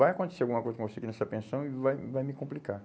Vai acontecer alguma coisa com você aqui nessa pensão e vai, vai me complicar.